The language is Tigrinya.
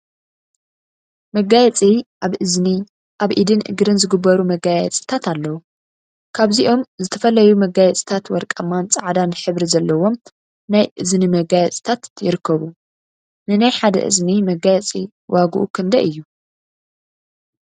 መጋየፂ መጋየፂ አብ እዝኒ፣ አብ ኢድን እግርን ዝግበሩ መጋየፂታት አለው፡፡ ካብዚኦም ዝተፈላዩ መጋየፂታት ወርቃማን ፃዕዳን ሕብሪ ዘለዎም ናይ እዝኒ መጋየፂታት ይርከቡ፡፡ ንናይ ሓደ እዝኒ መጋየፂ ዋግኡ ክንደይ እዩ?